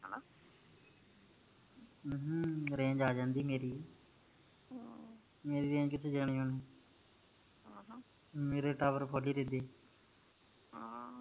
ਅਮ ਹਮ range ਆ ਜਾਂਦੀ ਮੇਰੀ ਮੇਰੀ range ਕਿਥੇ ਜਾਣੀ ਹੁਣ ਮੇਰੇ tower ਪੱਕੇ ਇਥੇ